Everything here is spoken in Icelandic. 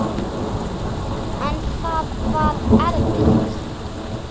En það var erfitt.